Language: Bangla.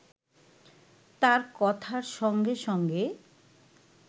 তার কথার সঙ্গে সঙ্গে